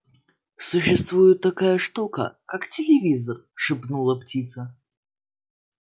существует такая штука как телевизор шепнула птица